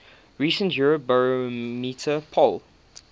recent eurobarometer poll